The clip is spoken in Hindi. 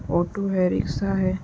ऑटो है। रिक्शा है।